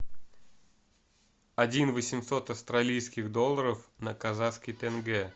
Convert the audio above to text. один восемьсот австралийских долларов на казахский тенге